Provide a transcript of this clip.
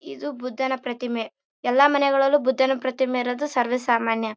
ಇದು ಬುದ್ದನ ಪ್ರತಿಮೆ ಎಲ್ಲರ ಮನೆಗಳಲ್ಲು ಬುದ್ದನ ಪ್ರತಿಮೆ ಅನ್ನೋದು ಸರ್ವೆ ಸಾಮಾನ್ಯ.